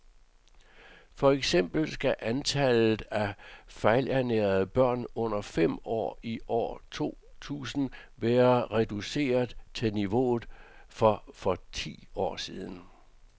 For eksempel skal antallet af fejlernærede børn under fem år i år to tusind være reduceret til niveauet for for ti år siden.